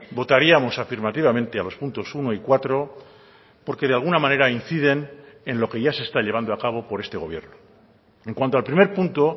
votaríamos afirmativamente a los puntos uno y cuatro porque de alguna manera inciden en lo que ya se está llevando a cabo por este gobierno en cuanto al primer punto